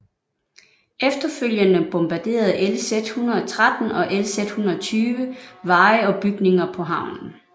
Efterfølgende bombarderede LZ 113 og LZ 120 veje og bygninger på havnen